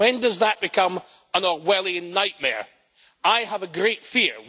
When does that become an Orwellian nightmare? I have a great fear.